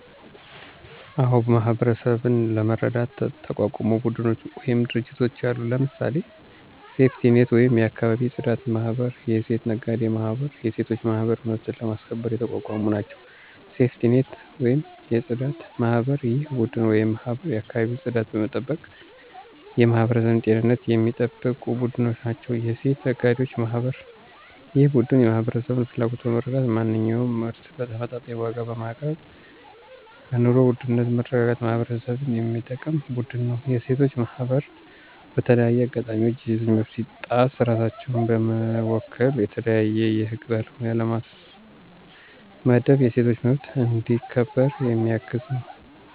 አዎ ! ማህበረሠብን ለመርዳት የተቋቋሙ ቡድኖች ወይም ድርጅቶች አሉ። ለምሳሌ፦ ሴፍቲኔት ወይም የአካባቢ የፅዳት ማህበር፣ የሴት ነጋዴ ማህበር፣ የሴቶች ማህበር መብትን ለማስከበር የተቋቋሙ ናቸው። -ሴፍቲኔት(የፅዳት) ማህበር፦ ይህ ቡድን ወይም ማህበር የአካባቢን ፅዳት በመጠበቅ የማህበረሠብን ጤንነት የሚጠብቁ ቡድኖች ናቸው። -የሴት ነጋዴዎች ማህበር፦ ይህ ቡድን የማህበረሠብን ፍላጎት በመረዳት ማንኛውንም ምርት በተመጣጣኝ ዋጋ በማቅረብ በኑሮ ውድነትን በማረጋጋት ማህበረሠብን የሚጠቅም ቡድን ነው። -የሴቶች ማህበር፦ በተለያዩ አጋጣሚዎች የሴቶች መብት ሲጣስ ራሳቸውን በመወከል የተለያዩ የህግ ባለሙያ በማስመደብ የሴቶች መብት እንዲ ከበር የሚያግዝ ነው።